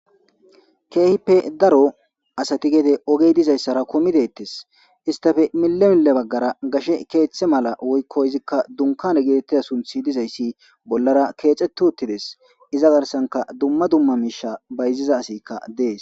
keehippe daro asati gede ogey dizayssara komideettes istape mile mile bagara gashe keeththe mala woyko izikka dunkane gitetiza sunthi dizayssi bolara keexeto uttides iza garsanka duma duma miisha bayziza asikka dees.